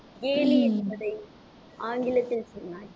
கேலி என்பதை ஆங்கிலத்தில் சொன்னாய்.